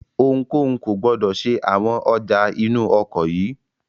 Ohunkóhun kò gbọdọ̀ ṣe àwọn ọjà inú ọkọ̀ yìí!